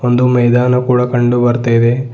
ಒಂದು ಮೈದಾನ ಕೂಡ ಕಂಡು ಬರ್ತಿದೆ.